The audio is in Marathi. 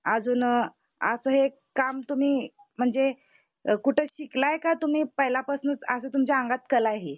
अजून असं एक काम तुम्ही म्हणजे कुठं शिकलाय का तुम्ही पहिल्या पासून असं तुमच्या अंगात कलाये ही